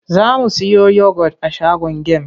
Za mu siyo yogot a shagon gem.